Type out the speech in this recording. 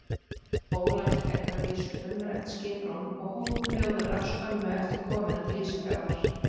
Ólafur fékk að vísu umrætt skiprúm og hóf róðra skömmu eftir komuna til Ísafjarðar.